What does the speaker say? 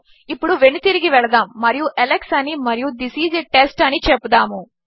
ఇప్పుడు వెను తిరిగి వెళదాము మరియు అలెక్స్ అని మరియు థిస్ ఐఎస్ a టెస్ట్ అని చెపుదాము